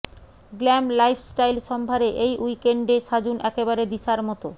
glam lifestyle সম্ভারে এই উইকেন্ডে সাজুন একেবারে দিশার মতো